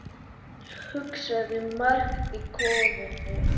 Hugsaði margt í kófinu